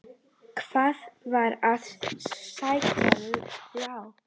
Hann var að sækja ljá.